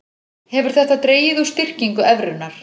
Hefur þetta dregið úr styrkingu evrunnar